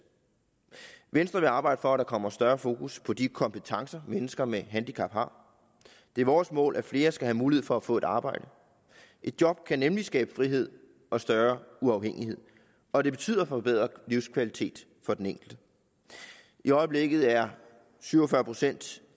venstre vil arbejde for at der kommer større fokus på de kompetencer mennesker med handicap har det er vores mål at flere skal have mulighed for at få et arbejde et job kan nemlig skabe frihed og større uafhængighed og det betyder forbedret livskvalitet for den enkelte i øjeblikket er syv og fyrre procent